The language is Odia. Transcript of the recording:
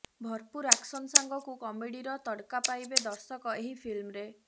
ଭରପୁର୍ ଆକ୍ସନ୍ ସାଙ୍ଗକୁ କମେଡିର ତଡକା ପାଇବେ ଦର୍ଶକ ଏହି ଫିଲ୍ମରେ